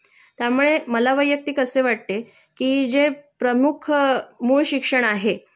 त्यामुळे मला वैयक्तिक असे वाटते कि जे प्रमुख मूळ शिक्षण आहे